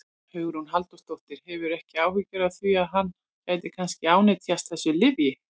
Hugrún Halldórsdóttir: Hefurðu ekki áhyggjur af því að hann gæti kannski ánetjast þessu lyfi?